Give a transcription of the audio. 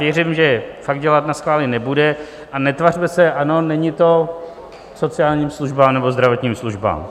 Věřím, že fakt dělat naschvály nebude, a netvařme se, ano, není to k sociálním službám nebo zdravotním službám.